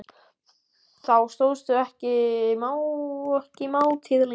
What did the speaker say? Þá stóðst hún ekki mátið lengur.